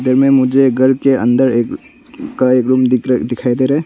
घर में मुझे घर के अन्दर एक रूम दिख दिखाई दे रहा है।